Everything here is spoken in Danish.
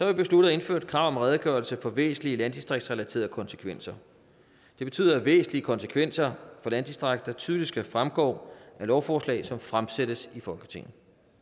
vi besluttet at indføre et krav om redegørelse for væsentlige landdistriktsrelaterede konsekvenser det betyder at væsentlige konsekvenser for landdistrikter tydeligt skal fremgå af lovforslag som fremsættes i folketinget